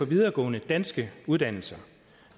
videregående danske uddannelser